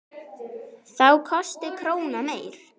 Þá kosti krónan meira.